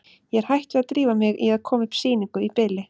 Ég er hætt við að drífa mig í að koma upp sýningu í bili.